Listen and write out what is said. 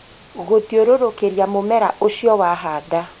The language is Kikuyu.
Gũthiũrũrũkĩria mũmera ũcio wahanda